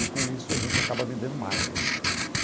E com isso a gente acaba vendendo mais, né?